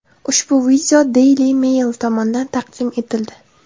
Ushbu video Daily Mail tomonidan taqdim etildi.